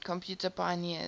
computer pioneers